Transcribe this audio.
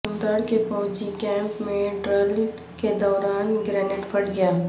ٹنگڈار کے فوجی کیمپ میں ڈرل کے دوران گرینیڈپھٹ گیا